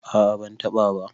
a a ban taba ba